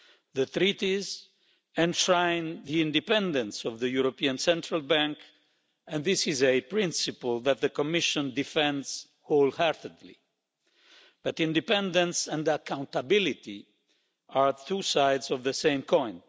The Treaties enshrine the independence of the European Central Bank, and this is a principle that the Commission defends wholeheartedly, but independence and accountability are two sides of the same coin.